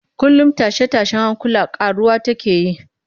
Kullum tashe-tashen hankula ƙaruwa take yi